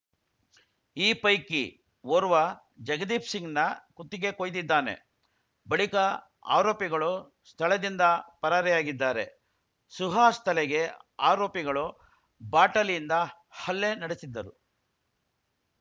ಈ ಪೈಕಿ ಓರ್ವ ಜಗದೀಪ್‌ ಸಿಂಗ್‌ನ ಕುತ್ತಿಗೆ ಕೊಯ್ದಿದ್ದಾನೆ ಬಳಿಕ ಆರೋಪಿಗಳು ಸ್ಥಳದಿಂದ ಪರಾರಿಯಾಗಿದ್ದಾರೆ ಸುಹಾಸ್‌ ತಲೆಗೆ ಆರೋಪಿಗಳು ಬಾಟಲಿಯಿಂದ ಹಲ್ಲೆ ನಡೆಸಿದ್ದರು